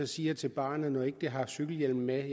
sige til barnet når det ikke har cykelhjelm med